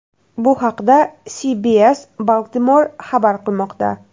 Bu haqda CBS Baltimore xabar qilmoqda .